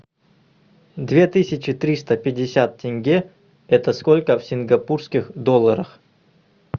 две тысячи триста пятьдесят тенге это сколько в сингапурских долларах